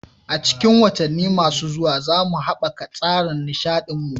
A cikin watanni masu zuwa, za mu haɓaka tsarin nishaɗin mu.